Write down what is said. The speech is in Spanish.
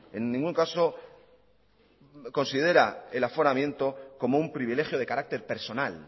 como un privilegio de carácter personal